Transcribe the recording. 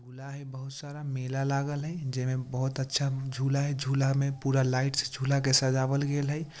झूला है बहुत सारा मेला लागल है जय में बहुत अच्छा झूला है झूला में पूरा लाइट से झूला के सजावल गेल है।